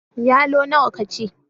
Yalo nawa ka ci?